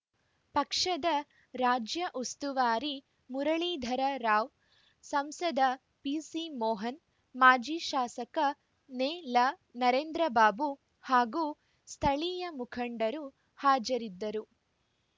ಪಕ್ಷದ ರಾಜ್ಯ ಉಸ್ತುವಾರಿ ಮುರಳೀಧರ ರಾವ್‌ ಸಂಸದ ಪಿಸಿಮೋಹನ್‌ ಮಾಜಿ ಶಾಸಕ ನೆಲನರೇಂದ್ರ ಬಾಬು ಹಾಗೂ ಸ್ಥಳೀಯ ಮುಖಂಡರು ಹಾಜರಿದ್ದರು